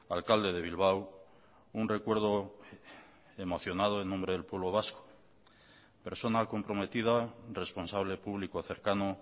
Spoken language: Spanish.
alcalde de bilbao un recuerdo emocionado en nombre del pueblo vasco persona comprometida responsable público cercano